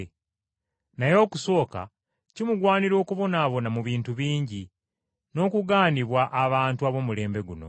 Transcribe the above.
Naye okusooka kimugwanira okubonaabona mu bintu bingi, n’okugaanibwa, abantu ab’omulembe guno.